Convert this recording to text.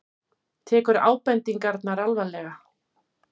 Tekur ábendingarnar alvarlega